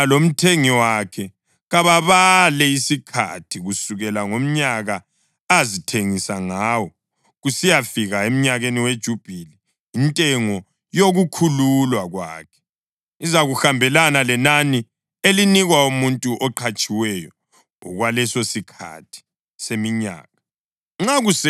Yena lomthengi wakhe kababale isikhathi kusukela ngomnyaka azithengisa ngawo kusiyafika emnyakeni weJubhili. Intengo yokukhululwa kwakhe izakuhambelana lenani elinikwa umuntu oqhatshiweyo okwalesosikhathi seminyaka.